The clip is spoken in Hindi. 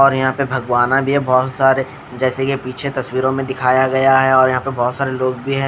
और यहाँ पर भगवाना भी है बहोत सारे जैसे की पीछे तस्वीरों में दिखाया गया है और यहाँ पर बहोत सारे लोग भी है।